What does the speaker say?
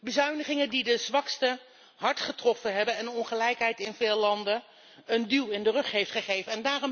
Bezuinigingen die de zwaksten hard getroffen hebben en de ongelijkheid in veel landen een duw in de rug hebben gegeven.